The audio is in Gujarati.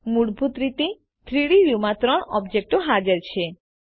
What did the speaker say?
મૂળભૂત રીતે 3ડી વ્યુમાં ત્રણ ઓબ્જેક્ટો હાજર છે